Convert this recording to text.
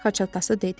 Xaç atası dedi.